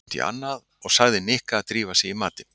Hann glotti út í annað og sagði Nikka að drífa sig í matinn.